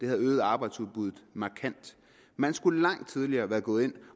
have øget arbejdsudbuddet markant man skulle langt tidligere være gået ind